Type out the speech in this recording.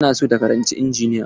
Tana son ta karanci injiniya.